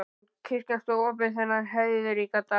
En kirkjan stóð opin þennan heiðríka dag.